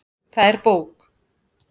Það er bók.